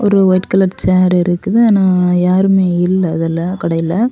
ஒரு white colour chair இருக்குது. ஆனா யாருமே இல்ல அதுல. கடைல.